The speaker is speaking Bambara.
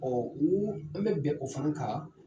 o an bɛ bɛn o fana kan.